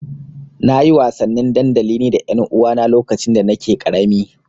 Na yi wasannin dandali ni da ƴanuwana lokacin da nake ƙarami.